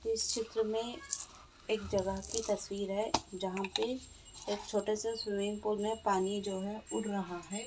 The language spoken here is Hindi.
इस चित्र मे एक जगह की तस्वीर है जहां पे एक छोटे से स्विमिंग पूल में पानी जो है उड़ रहा है ।